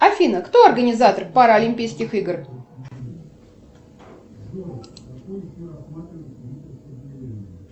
афина кто организатор параолимпийских игр